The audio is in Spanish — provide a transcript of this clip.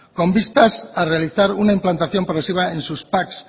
con vistas a realizar una implantación progresiva en sus pac